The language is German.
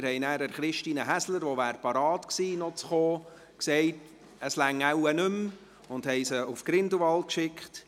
Wir haben deshalb Christine Häsler, die zu kommen bereit gewesen wäre, gesagt, es reiche wahrscheinlich nicht mehr, und haben sie nach Grindelwald verabschiedet.